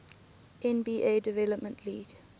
nba development league